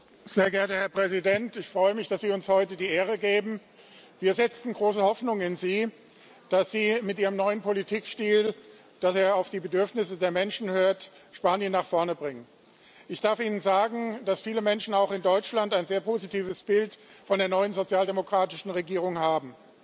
Herr Präsident! Sehr geehrter Herr Ministerpäsident, ich freue mich, dass Sie uns heute die Ehre geben. Wir setzen große Hoffnungen in Sie, dass Sie mit Ihrem neuen Politikstil, der darin besteht, auf die Bedürfnisse der Menschen zu hören, Spanien nach vorne bringen. Ich darf Ihnen sagen, dass viele Menschen auch in Deutschland ein sehr positives Bild von der neuen sozialdemokratischen Regierung haben.